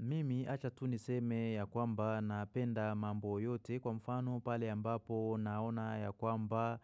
Mimi achatu niseme ya kwamba napenda mambo yote kwa mfano pale ambapo naona ya kwamba